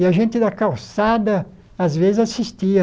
E a gente da calçada, às vezes, assistia.